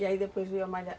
E aí depois veio a malha